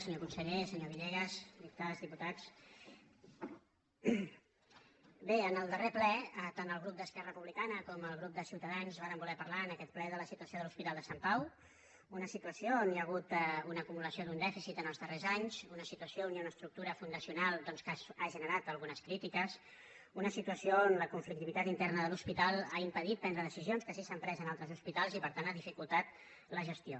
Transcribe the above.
senyor conseller se·nyor villegas diputades diputats bé en el darrer ple tant el grup d’esquerra republicana com el grup de ciutadans vàrem voler parlar en aquest ple de la situa·ció de l’hospital de sant pau una situació on hi ha hagut una acumulació d’un dèficit en els darrers anys una situació i una estructura fundacional doncs que han generat algunes crítiques i una situació on la con·flictivitat interna de l’hospital ha impedit prendre de·cisions que sí s’han pres en altres hospitals i per tant ha dificultat la gestió